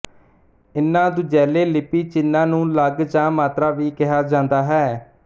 ਇਨ੍ਹਾਂ ਦੂਜੈਲੇ ਲਿਪੀ ਚਿੰਨ੍ਹਾਂ ਨੂੰ ਲਗ ਜਾਂ ਮਾਤਰਾ ਵੀ ਕਿਹਾ ਜਾਂਦਾ ਹੈ